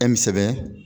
sɛbɛn